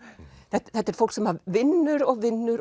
þetta er fólk sem vinnur og vinnur